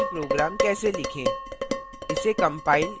एक सामान्य c program कैसे लिखें